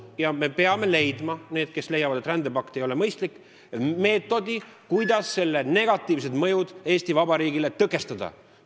Ja me peame leidma – meie, kes me leiame, et rändepakt ei ole mõistlik – meetodi, kuidas selle negatiivsed mõjud Eesti Vabariigis ära hoida.